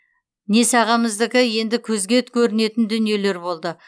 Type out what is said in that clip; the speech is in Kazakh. несағамыздікі енді көзге көрінетін дүниелер болды